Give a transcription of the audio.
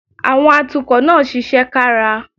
Àwọn atukọ̀ náà ṣiṣẹ́ kára